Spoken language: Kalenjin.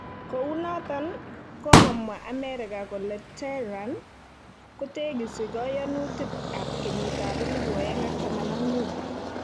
Kou noton, kogomwa Amerika kole kole Tehran kotegisii goyonutik ab keyit ab 2015.